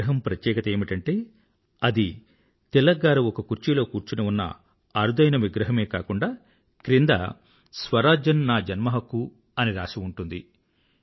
ఈ విగ్రహం ప్రత్యేకత ఏమిటంటే అది తిలక్ గారు ఒక కుర్చీలో కూర్చుని ఉన్న అరుదైన విగ్రహమే కాకుండా క్రింద స్వరాజ్యం నా జన్మ హక్కు అని రాసి ఉంటుంది